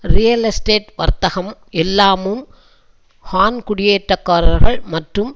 real estate வர்த்தகம் எல்லாமும் Han குடியேற்றக்காரர்கள் மற்றும்